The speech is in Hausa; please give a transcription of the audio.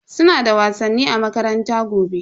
Suna da wasanni a makaranta gobe.